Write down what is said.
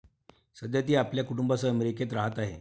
सध्या ती आपल्या कुटुंबासह अमेरिकेत राहात आहे.